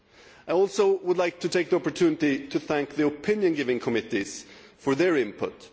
I would also like to take this opportunity to thank the opinion giving committees for their input.